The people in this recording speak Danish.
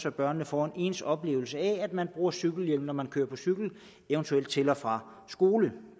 at børnene får en ens oplevelse af at man bruger cykelhjelm når man kører på cykel eventuelt til og fra skole